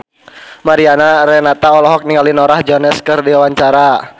Mariana Renata olohok ningali Norah Jones keur diwawancara